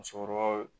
Musokɔrɔbaw